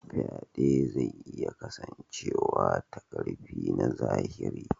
Faɗe zai iya kasancewa ta ƙarfi na zahiri.